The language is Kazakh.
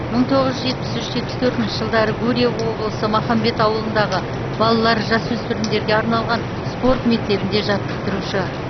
мың тоғыз жүз жетпіс үш жетпіс төртінші жылдары гурьев облысы махамбет ауылындағы балалар жасөспірімдерге арналған спорт мектебінде жаттықтырушы